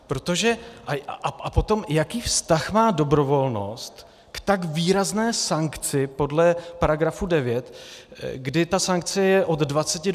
A potom, jaký vztah má dobrovolnost k tak výrazné sankci podle § 9, kdy ta sankce je od 20 do 50 tisíc?